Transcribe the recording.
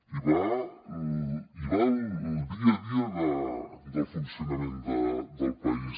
hi va el dia a dia del funcionament del país